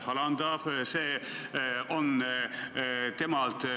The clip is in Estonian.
Hele Everaus, palun!